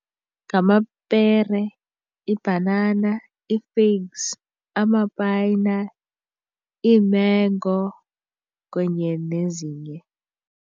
Ngamapere, ibhanana, ii-figs, amapayina, iimengo kunye nezinye.